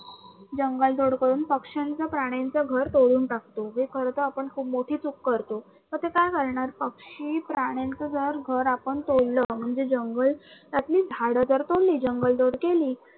जंगल तोड करून पक्षांच, प्राण्यांच घर तोडून टाकतो, हे खर तर आपण खूप मोठी चूक करतो. पक्षी, प्राण्यांच जर घर आपण तोडलं म्हणजे जंगलातली झाडं जर तोडली जंगलतोड केली